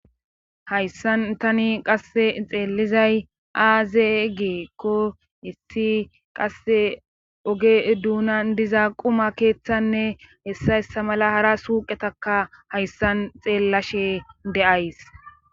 hayssan tani qasse xeellizay aaze geekko issi qasse oge duuna diza quma keeththanne hessa essa mala hara suuqetaka hayssan xeellashe de7ays